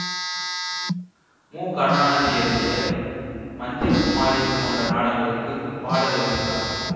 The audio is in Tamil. மு கருணாநிதி எழுதிய மந்திரகுமாரி போன்ற நாடங்களுக்குப் பாடல் எழுதினார்